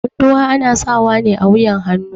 Munduwa ana sawa ne a wuƴan hannu.